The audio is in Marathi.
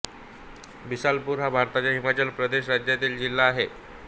बिलासपुर हा भारताच्या हिमाचल प्रदेश राज्यातील जिल्हा आहे